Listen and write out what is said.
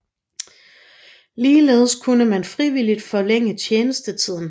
Ligeledes kunne man frivilligt forlænge tjenestetiden